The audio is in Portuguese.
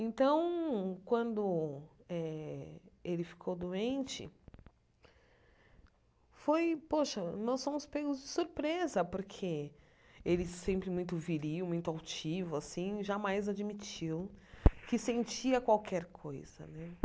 Então, quando eh ele ficou doente, foi, poxa, nós fomos pegos de surpresa, porque ele sempre muito viril, muito altivo, assim, jamais admitiu que sentia qualquer coisa, né?